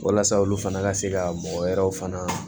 Walasa olu fana ka se ka mɔgɔ wɛrɛw fana